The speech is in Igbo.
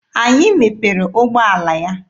Anyị mepere ụgbọala ya.